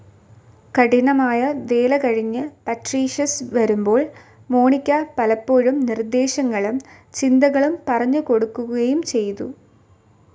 കഠിനമായ വേലകഴിഞ്ഞു പട്രീഷ്യസ് വരുമ്പോൾ മോണിക്ക പലപ്പോഴും നിർദേശങ്ങളും ചിന്തകളും പറഞ്ഞുകൊടുക്കുകയുംചെയ്തു.